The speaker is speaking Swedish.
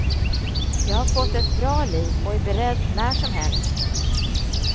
Jag har fått ett bra liv och är beredd när som helst.